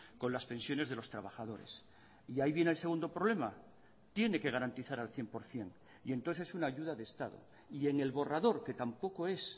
con las pensiones de los trabajadores y ahí viene el segundo problema tiene que garantizar al cien por ciento y entonces es una ayuda de estado y en el borrador que tampoco es